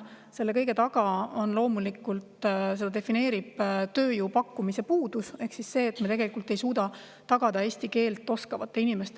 Loomulikult, selle kõige taga on ja seda defineerib tööjõu puudus ehk siis see, et me ei suuda tagada hulka eesti keelt oskavaid inimesi,